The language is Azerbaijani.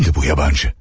Kimdi bu yabancı?